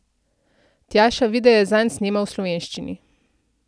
Tjaša videe zanj snema v slovenščini.